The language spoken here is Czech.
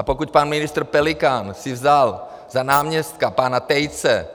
A pokud pan ministr Pelikán si vzal za náměstka pana Tejce,